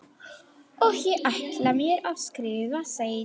Og ég ætla mér að skrifa seinna.